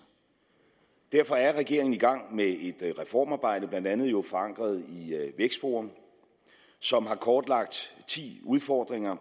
derfor er regeringen i gang med et reformarbejde blandt andet jo forankret i vækstforum som har kortlagt ti udfordringer